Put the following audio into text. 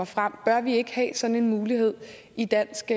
frem bør vi ikke have sådan en mulighed i dansk